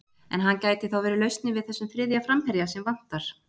En hann gæti þá verið lausnin við þessum þriðja framherja sem vantar?